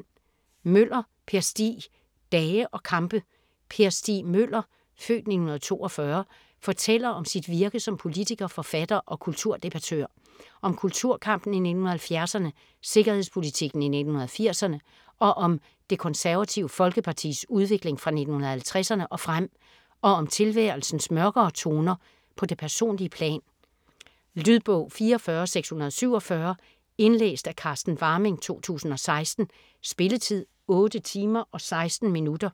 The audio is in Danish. Møller, Per Stig: Dage og kampe Per Stig Møller (f. 1942) fortæller om sit virke som politiker, forfatter og kulturdebattør. Om kulturkampen i 1970'erne, sikkerhedspolitikken i 1980'erne og om Det Konservative Folkepartis udvikling fra 1950'erne og frem. Og om tilværelsens mørkere toner på det personlige plan. Lydbog 44647 Indlæst af Carsten Warming, 2016. Spilletid: 8 timer, 16 minutter.